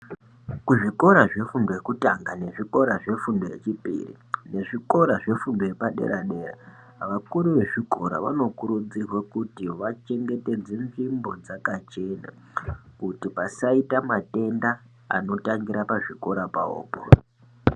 Kuzvikora zvefundo yekutanga ,nezvikora zvefundo yechipiri, nekuzvikora zvefundo yepadera-dera, vakuru vezvikora vanokurudzirwe kuti vachengetedze nzvimbo dzakachena ,kuti pasaita matenda anotangira pazvikora pawopo.